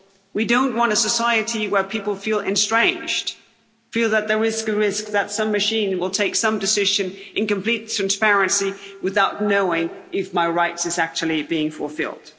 We don't want a society where people feel estranged, feel that there is the risk that some machine will take some decision in complete transparency without knowing if their rights are actually being fulfilled.